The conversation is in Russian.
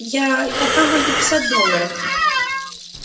я я дам вам пятьдесят долларов